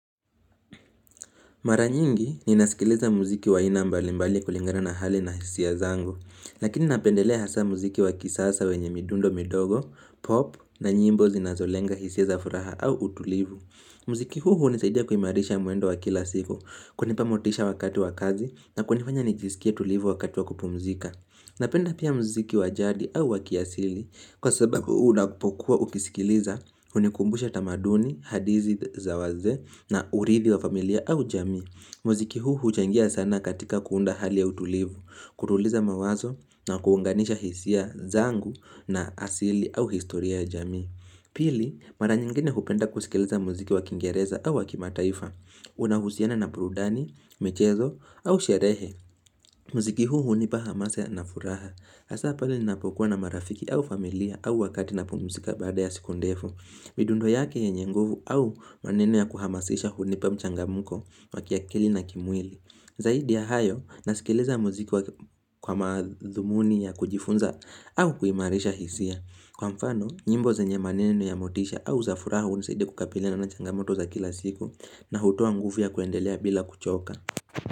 Mara nyingi ninasikiliza muziki wa aina mbali mbali kulingana na hali na hisia zangu, lakini napendelea hasa muziki wa kisasa wenye midundo midogo, pop na nyimbo zinazolenga hisia za furaha au utulivu. Mziki huu hunisaidia kuimarisha mwendo wa kila siku, kunipa motisha wakati wa kazi na kunifanya nijisikie tulivu wakati wakupumzika. Napenda pia mziki wa jadi au wa kiasili kwa sababu unapokuwa ukisikiliza unikumbusha tamaduni, hadithi za wazee na urithi wa familia au jamii. Mziki huu huchangia sana katika kuunda hali ya utulivu, kutuliza mawazo na kuunganisha hisia zangu na asili au historia ya jami. Pili, mara nyingine hupenda kusikeleza muziki wa kingereza au wa kimataifa unahusiana na burudani, michezo au sherehe mziki huu hunipa hamasa na furaha Hasa pale ninapokuwa na marafiki au familia au wakati napumzika baada ya siku ndefu midundo yake yenye nguvu au maneno ya kuhamasisha hunipa mchangamko wa kiakili na kimwili Zaidi ya hayo, nasikiliza muziki kwa maadhumuni ya kujifunza au kuimarisha hisia Kwa mfano, nyimbo zenye maneno ya motisha au za furaha hunisaidia kukabilina na changamoto za kila siku na hutoa nguvu ya kuendelea bila kuchoka.